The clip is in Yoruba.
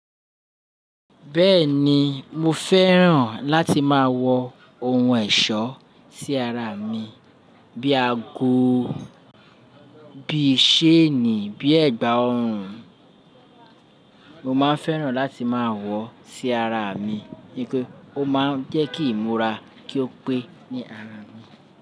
Bẹ́ẹ̀ni, mo fẹ́ràn láti máa wọ ohun ẹ̀ṣọ́ sí ara mi bíi ago, bíi ṣéènì, bíi ẹ̀gbà ọrùn. Mo máa n fẹ́ràn láti máa wọ sí ara mi nítorí o máa ń jẹ́ kí imoura kí ó pé ní ara mi.